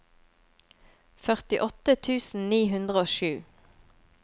førtiåtte tusen ni hundre og sju